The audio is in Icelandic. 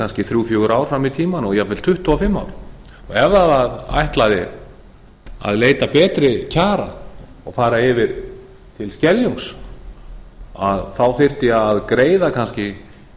kannski þrjú til fjögur ár fram í tímann og jafnvel tuttugu og fimm ár og ef það ætlaði að leita betri kjara og fara yfir til skeljungs þá þyrfti að greiða kannski